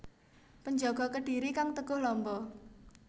Penjaga Kedhiri kang teguh lamba